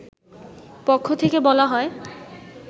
পক্ষ থেকে বলা হয়